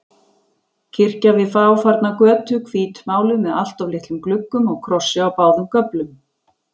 Kirkja við fáfarna götu, hvítmáluð með alltof litlum gluggum og krossi á báðum göflum.